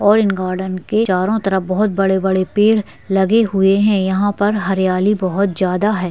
और इन गोर्डन के चारो तरफ बहोत बड़े-बड़े पेड़ लगे हुए है यहाँ पर हरियाली बहोत ज्यादा है।